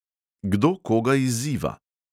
Kdo koga izziva?